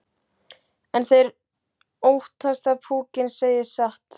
En þeir óttast að púkinn segi satt.